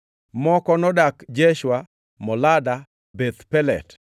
moko nodak Jeshua, Molada, Beth Pelet,